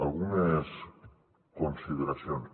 algunes consideracions